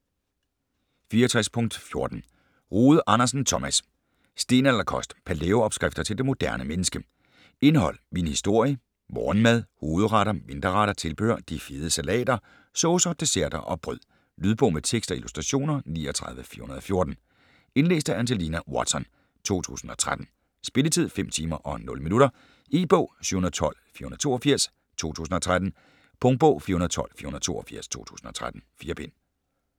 64.14 Rode Andersen, Thomas: Stenalderkost: palæo-opskrifter til det moderne menneske Indhold: Min historie, Morgenmad, Hovedretter, Mindre retter, Tilbehør, De fede salater, Saucer, Desserter & "brød". Lydbog med tekst og illustrationer 39414 Indlæst af Angelina Watson, 2013. Spilletid: 5 timer, 0 minutter. E-bog 712482 2013. Punktbog 412482 2013. 4 bind.